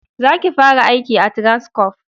Za ki fara aiki a Transcorp!